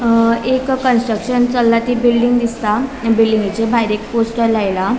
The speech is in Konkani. अ एक कन्स्ट्रक्शन चल्ला बिल्डिंग दिसता बिल्डिंगेच्या भायर एक पोस्टर लायला.